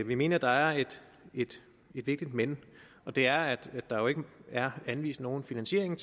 vi mener der er et vigtigt men og det er at der jo ikke er anvist nogen finansiering